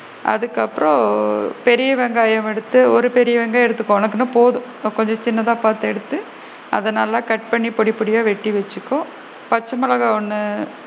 அதுக்கு அப்பறம் பெரிய வெங்காயம் எடுத்து ஒரு பெரிய வெங்காயம் எடுத்துக்கோ உனக்கு அது போதும் கொஞ்சம் சின்னதா பாத்து எடுத்து அத நல்லா cut பண்ணி பொடி பொடியா எடுத்து வச்சுக்கோ, பச்சை மிளகாய் ஒன்னு,